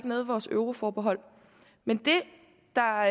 noget i vores euroforbehold men det der er